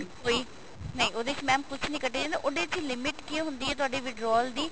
ਕੋਈ ਨਹੀਂ ਉਹਦੇ ਚ mam ਕੁੱਝ ਨੀ ਕੱਟੇ ਜਾਂਦਾ ਉਹਦੇ ਚ limit ਕੀ ਹੁੰਦੀ ਹੈ ਤੁਹਾਡੇ withdraw ਦੀ